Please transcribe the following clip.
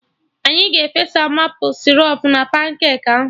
Anyị ga-efesa maple sịrọp na pancake ahụ